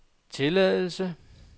tilladelse